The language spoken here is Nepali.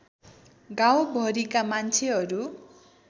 गाउँ भरिका मान्छेहरू